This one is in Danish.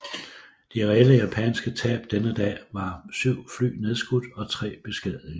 De reelle japanske tab denne dag var syv fly nedskudt og tre beskadigede